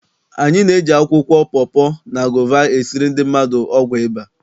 Anyị na-eji akwụkwọ pọpọ, na gova esiri ndị mmadụ ọgwụ ịba.